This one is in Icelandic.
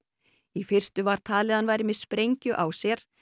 í fyrstu var talið að hann væri með sprengju á sér